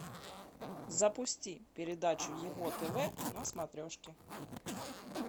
запусти передачу его тв на смотрешке